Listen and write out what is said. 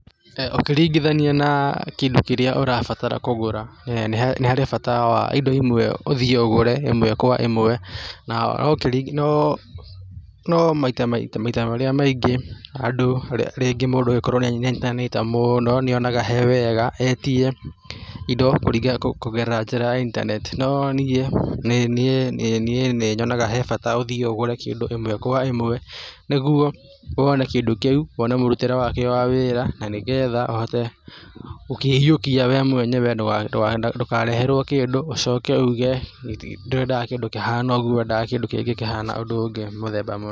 Ũkĩringithania na kĩndũ kĩrĩa ũrabatara kũgũra nĩ harĩ bata wa indo imwe ũthiĩ ũgũre ĩmwe kwa ĩmwe no no maita marĩa maingĩ andũ rĩngĩ mũndũ nainjitante mũno nĩ onaga he wega etie indo kũgerera njĩra ya intaneti no niĩ, niĩ nĩ nyonaga hebata ũthiĩ ũthiĩ ũgũre kĩndũ ĩmwe kwa ĩmwe nĩguo wone kindũ kĩu wone mũrutĩre wakĩo wa wĩra na nĩgetha ũhote gũkĩiyũkia we mwenyewe ndũkareherwo kĩndũ ũcoke uuge ndũrendaga kĩndũ kĩhana ũguo ũrendaga kĩndũ kĩngĩ kũhana ũndũ ũngĩ nĩ mũthemba mũna.